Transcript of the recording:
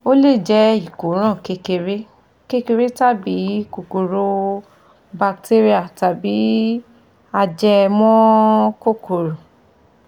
Ó le jé ìkóràn kékeré kékeré tàbí kòkòrò batéríà tàbí ajẹmọ́ kókòrò